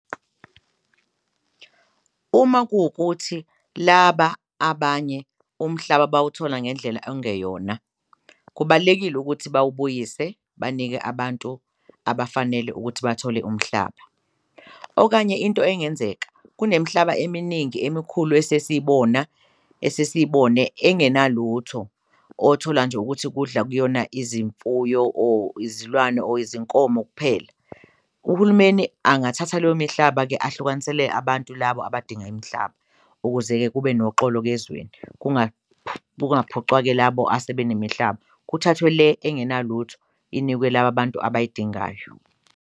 Uma kuwukuthi laba abanye umhlaba bawuthola ngendlela okungeyona, kubalulekile ukuthi bawubuyise banike abantu abafanele ukuthi bathole umhlaba, okanye into engenzeka kunemhlaba eminingi emikhulu esesiyibona esesiyibone engenalutho othola nje ukuthi kudla kuyona izimfuyo, or izilwane, or izinkomo kuphela. Uhulumeni angathatha mihlaba-ke ahlukanisele abantu labo abadinga imihlaba ukuze-ke kube noxolo-ke ezweni kungaphucwa-ke labo asebenemihlaba kuthathwe le engenalutho inikwe laba bantu abayidingayo.